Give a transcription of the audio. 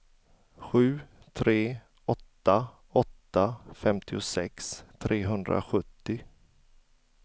sju tre åtta åtta femtiosex trehundrasjuttio